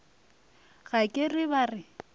ga ke re ba re